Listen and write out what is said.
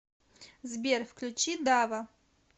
сбер включи дава